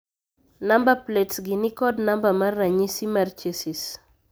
Namba plets gi ni kod namba mar ranyisi mar chesis.